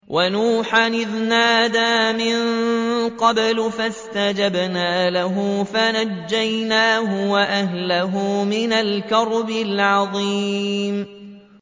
وَنُوحًا إِذْ نَادَىٰ مِن قَبْلُ فَاسْتَجَبْنَا لَهُ فَنَجَّيْنَاهُ وَأَهْلَهُ مِنَ الْكَرْبِ الْعَظِيمِ